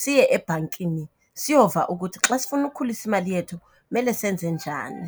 siye ebhankini siyova ukuthi xa sifuna ukhulisa imali yethu kumele senze njani.